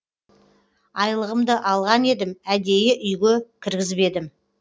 айлығымды алған едім әдейі үйге кіргізбедім